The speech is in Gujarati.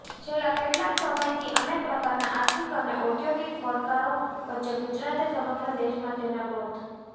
છેલ્લા કેટલાક સમયથી અનેક પ્રકારના આર્થિક અને ઔદ્યોગિક પડકારો વચ્ચે ગુજરાતે સમગ્ર દેશમાં તેના ગ્રોથ